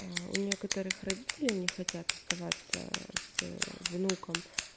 у нее которых родители не хотят оставаться с внуком